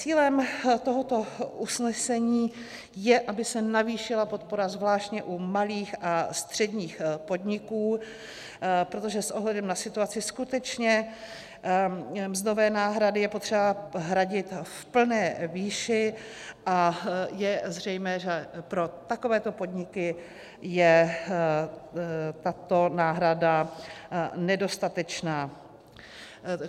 Cílem tohoto usnesení je, aby se navýšila podpora zvláště u malých a středních podniků, protože s ohledem na situaci skutečně mzdové náhrady je potřeba hradit v plné výši a je zřejmé, že pro takovéto podniky je tato náhrada nedostatečná.